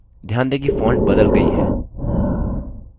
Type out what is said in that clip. ध्यान दें कि font बदल गई है